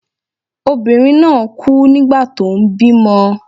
Obìnrin náà kú nígbà tó ń bímọ.